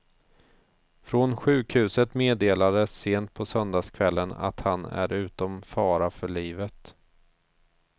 Från sjukhuset meddelades sent på söndagskvällen att han är utom fara för livet.